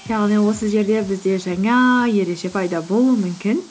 яғни осы жерде бізде жаңа ереже пайда болуы мүмкін